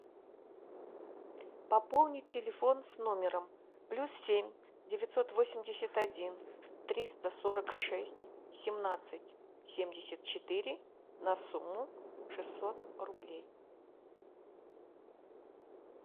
пополнить телефон с номером плюс семь девятьсот восемьдесят один триста сорок шесть семнадцать семьдесят четыре на сумму шестьсот рублей